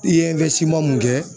I ye mun kɛ